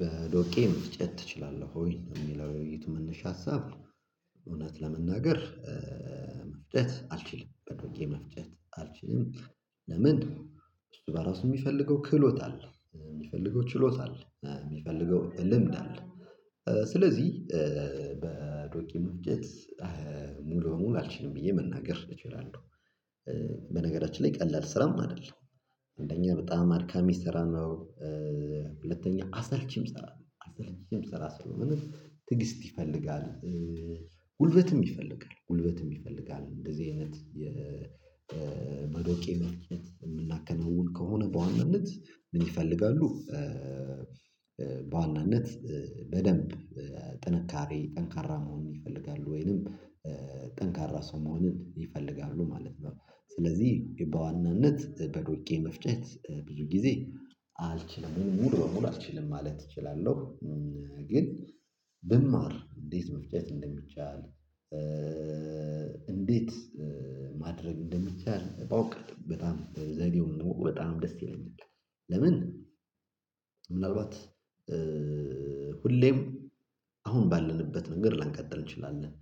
በዶቄ መፍጨት ትችላለህ ወይ የሚለው የውይይት መነሻ ሀሳብ? እውነት ለመናገር። መፍጨት አልችልም በዶቄ መፍጨት አልችልም። ለምን? እሱ በራሱ የሚፈልገው ክህሎት አለ የሚፈልገው ችሎት አለ የሚፈልገው ልምድ አለ። ስለዚህ በዶቄ መፍጨት ሙሉ በሙሉ አልችልም ብዬ መናገር እችላለሁ። በነገራችን ላይ ቀላል ስራም አይደለም። አንደኛ በጣም አድካሚ ስራ ነው። ሁለተኛ አሰልቺም ስራ ነው አሰልቺም ሰራስሩ ምንም ትዕግስት ይፈልጋል። ጉልበትም ይፈልጋል ጉልበትም ይፈልጋል እንደዚህ አይነት የበዶቄ መፍጨት የምናከናውን ከሆነ በዋናነት ምን ይፈልጋሉ? በዋናነት በደንብ ጥንካሬ ጠንካራ መሆን ይፈልጋሉ ወይንም ጠንካራ ሰው መሆንን ይፈልጋሉ ማለት ነው። ስለዚህ በዋናነት በዱቄ መፍጨት ብዙ ጊዜ አልችልም ሙሉ በሙሉ አልችልም ማለት እችላለሁ። ግን ብማር እንዴት መፍጨት እንደሚቻል እንዴት ማድረግ እንደሚቻል በውቀት በጣም ዘዴውን በጣም ደስ ይለኛል። ለምን ምናልባት ሁሌም አሁን ባለንበት ነገር ላንቀጥል እንችላለን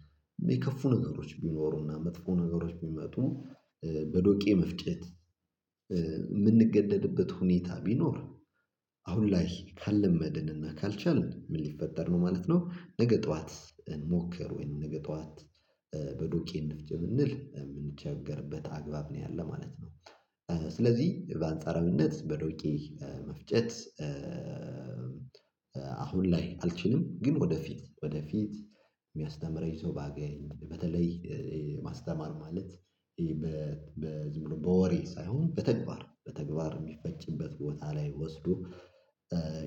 የከፉ ነገሮች ቢኖሩና መጥፎ ነገሮች ቢመጡ። በዶቄ መፍጨት የምንገደድበት ሁኔታ ቢኖር። አሁን ላይ ካልለመድንና ካልቻልን ምን ሊፈጠር ነው ማለት ነው። ነገ ጠዋት እንሞክር ወይንም ነገ ጠዋት በዱቄ እንፍጭ ቢንል የምንቸገርበት አግባብ ነው ያለ ማለት ነው። ስለዚህ በአንጻረዊነት በዶቄ መፍጨት። አሁን ላይ አልችልም ግን ወደፊት ወደፊት የሚያስተምረኝ ሰው ባገኝ በተለይ ማስተማር ማለት በ ዝም ብሎ በወሬ ሳይሆን በተግባር በተግባር የሚፈጭበት ቦታ ላይ ወስዶ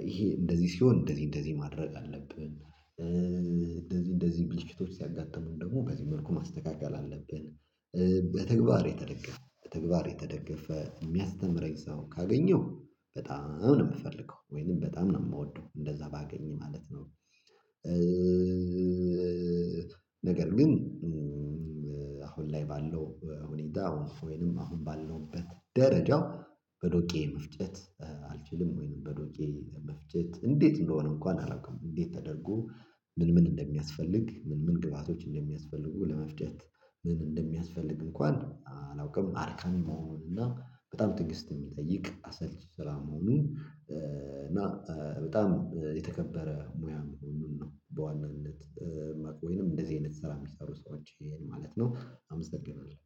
ይሄ እንደዚህ ሲሆን እንደዚህ እንደዚህ ማድረግ አለብን እንደዚህ እንደዚህ ብልሽቶች ሲያጋጥሙን ደግሞ በዚህ መልኩ ማስተካከል አለብን። በተግባር የተደገፈ በተግባር የተደገፈ የሚያስተምረኝ ሰው ካገኘው በጣም ነው የምፈልገው ወይንም በጣም ነው የምወደው እንደዛ ባገኝ ማለት ነው። ነገር ግን አሁን ላይ ባለው ሁኔታ ወይንም አሁን ባለሁበት ደረጃ በዶቄ መፍጨት አልችልም ወይንም በዶቄ መፍጨት እንዴት እንደሆነ እንኳን አላውቅም። እንዴት ተደርጎ ምን ምን እንደሚያስፈልግ ምን ምን ግብአቶች እንደሚያስፈልጉ ለመፍጨት ምን እንደሚያስፈልግ እንኳን አላውቅም። አድካሚ መሆኑን እና በጣም ትዕግስት የሚጠይቅ አሰልች ስራ መሆኑ እና በጣም የተከበረ ሙያ መሆኑን ነው። በዋናነት መቅ ወይንም እንደዚህ አይነት ስራ የሚሰሩ ሰዎችን ማለት ነው አመሰግናለሁ